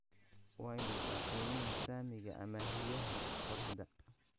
Waa imisa qiimaha saamiga amaahiyaha qoraxda?